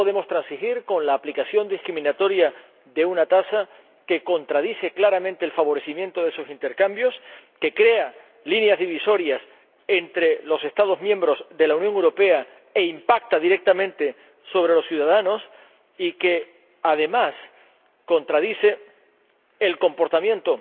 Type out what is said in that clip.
No podemos transigir con la aplicación discriminatoria de una tasa que contradice claramente el fomento de esos intercambios, que crea líneas divisorias entre los Estados miembros de la Unión Europea e impacta directamente sobre los ciudadanos y que, además, contradice el comportamiento